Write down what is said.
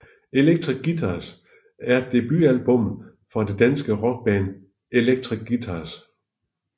Electric Guitars er debutalbummet fra det danske rockband Electric Guitars